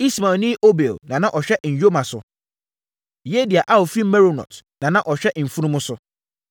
Ismaelni Obil na na ɔhwɛ nyoma so. Yehdia a ɔfiri Meronot na na ɔhwɛ mfunumu so.